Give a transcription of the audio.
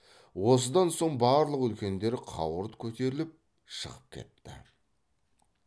осыдан соң барлық үлкендер қауырт көтеріліп шығып кетті